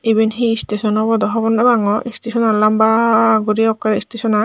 eben he istason obow dow hogor nopangot istesonan lanbaa guri ekke istesonan.